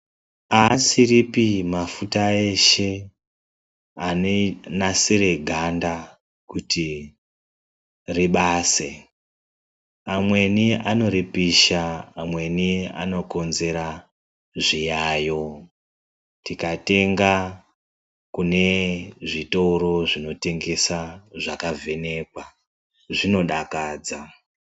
Aasiripi mafuta eshe anonasire ganda kuti ribase. Amweni anoripisha, amweni anokonzera zviyayo. Tikatenga kune zvitoro zvinotengesa zvakavhenekwa, zvinodakadza .